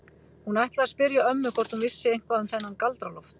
Hún ætlaði að spyrja ömmu hvort hún vissi eitthvað um þennan Galdra-Loft.